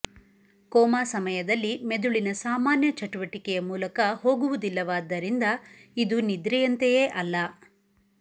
coma ಸಮಯದಲ್ಲಿ ಮೆದುಳಿನ ಸಾಮಾನ್ಯ ಚಟುವಟಿಕೆಯ ಮೂಲಕ ಹೋಗುವುದಿಲ್ಲವಾದ್ದರಿಂದ ಇದು ನಿದ್ರೆಯಂತೆಯೇ ಅಲ್ಲ